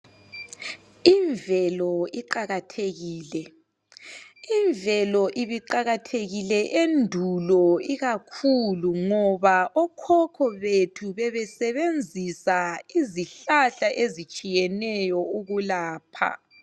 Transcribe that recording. Imvelo iqakathekile, imvelo ibiqakathekile endulo ikakhulu ngoba okhokho bethu bebesebenzisa izihlahla ezitshiyeneyo ukulapha.